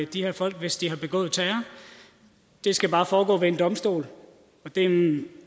de her folk hvis de har begået terror det skal bare foregå ved en domstol